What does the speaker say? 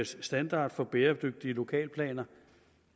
standard for bæredygtige lokalplaner